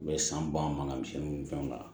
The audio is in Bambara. U bɛ san ban ka misi ninnu fɛnw k'a la